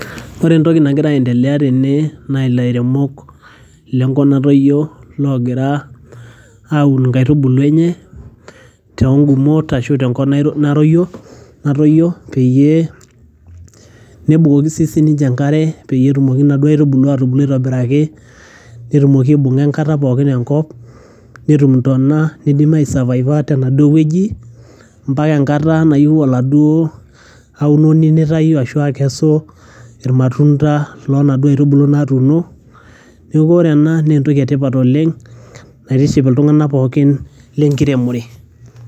Ore entoki nagira aiendelea tene naa ilairemok le nkop natoyio logira aun nkaitubulu enye too ng'umot ashu tenkop naroyio natoyio peyie nebukoki sii sininje enkare peyie etumoki nena aitubulu atubulu aitobiraki netumoki aibung'a enkata pookin enkop, netum intona nidim ai survive a tenaduo wueji mpaka enkata nayeu oladuo aunoni nitayu ashu akesu irmatunda loo naduo aitubulu natuuno. Neeku ore ena naa entoki e tipat oleng' naitiship iltung'anak pookin te nkiremore.